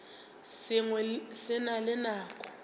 sengwe se na le nako